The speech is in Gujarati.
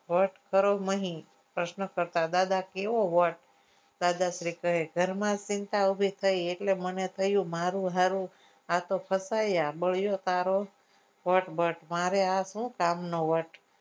vote કરો નહી પ્રશ્ન કરતા દાદા કેવો vote દાદાશ્રી કહે ઘરમાં ચિંતા ઓછી થઇ એટલે મને થયું મારું હારું આતો ફસાયા મારે શું કામનો આ vote